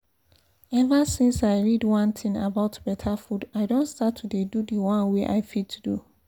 ever since i read one thing about better food i don start to dey do the one wey i fit do